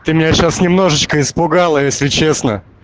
ты меня сейчас немножечко испугала если честно